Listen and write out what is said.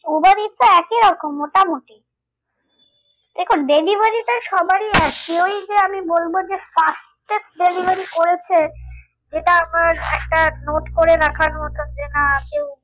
Uber it's a একই রকম মোটামুটি দেখুন delivery তে সবারই এক কেউই যে আমি বলবো যে fastest delivery করেছে এটা আমার একটা note করে রাখার মতো যে না কেউ